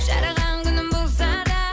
жараған күнің болса да